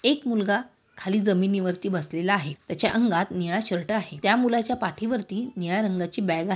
एक मुलगा खाली जमीनिवरती बसलेला आहे. त्याच्या अंगात निळा शर्ट आहे. त्या मुलाच्या पाठीवरती निळ्या रंगाची बैग आहे.